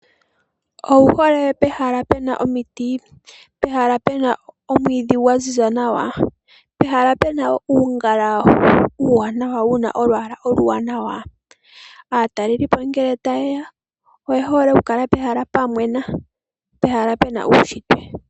Owu hole pehala pu na omiti, pehala pu na omwiidhi gwa ziza nawa, pehala pu na uungala uuwanawa wu na olwaala oluwanawa? Aatalelipo ngele ta ye ya oye hole okukala pehala pwa mwena , pehala pu na uushitwe.